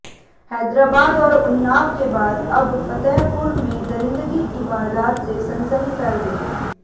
हैदराबाद और उन्नाव के बाद अब फतेहपुर में दरिंदगी की वारदात से सनसनी फैल गई